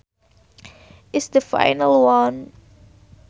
is the final one